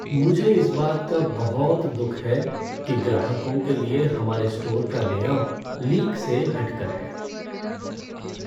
मुझे इस बात का बहुत दुःख है कि ग्राहकों के लिए हमारे स्टोर का लेआउट लीक से हट कर है।